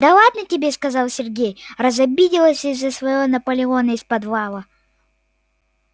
да ладно тебе сказал сергей разобиделась из-за своего наполеона из подвала